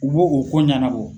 U bo o ko ɲanabɔ.